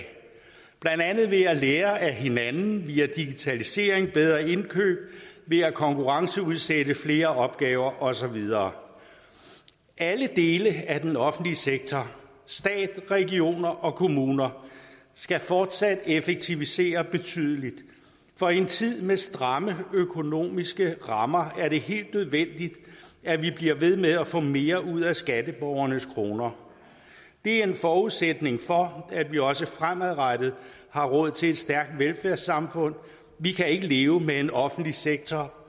blandt andet ved at lære af hinanden via digitalisering bedre indkøb ved at konkurrenceudsætte flere opgaver og så videre alle dele af den offentlige sektor stat regioner og kommuner skal fortsat effektivisere betydeligt for i en tid med stramme økonomiske rammer er det helt nødvendigt at vi bliver ved med at få mere ud af skatteborgernes kroner det er en forudsætning for at vi også fremadrettet har råd til et stærkt velfærdssamfund vi kan ikke leve med en offentlig sektor